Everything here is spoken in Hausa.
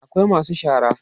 akwai masu shara